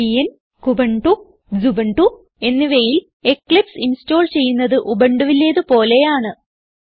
Debian Kubuntu Xubuntu എന്നിവയിൽ Eclipse install ചെയ്യുന്നത് ഉബുണ്ടുവിലേത് പോലെയാണ്